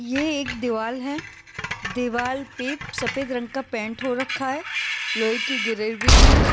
ये एक दीवार है दीवार पे सफेद रंग का पेंट हो रखा है लोहे की गिरेबी है।